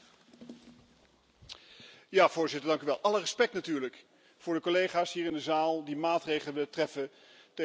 Voorzitter, alle respect natuurlijk voor de collega's hier in de zaal die maatregelen treffen tegen de vermeende klimaatverandering.